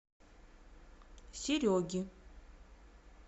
сереги